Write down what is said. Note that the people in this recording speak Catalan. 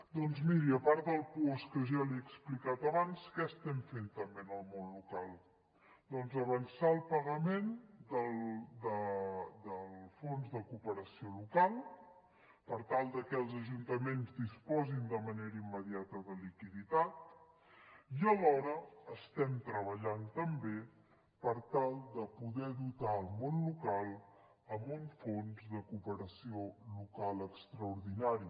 doncs miri a part del puosc que ja l’hi he explicat abans què estem fent també en el món local doncs avançar el pagament del fons de cooperació local per tal de que els ajuntaments disposin de manera immediata de liquiditat i alhora estem treballant també per tal de poder dotar el món local amb un fons de cooperació local extraordinari